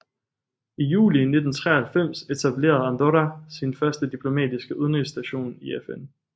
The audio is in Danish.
I juli 1993 etablerede Andorra sin første diplomatiske udenrigsstation i FN